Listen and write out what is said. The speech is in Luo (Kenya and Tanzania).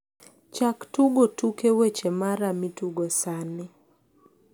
chak tukgo tuke weche mara mitugo sani